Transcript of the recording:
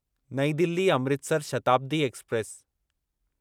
नईं दिल्ली अमृतसर शताब्दी एक्सप्रेस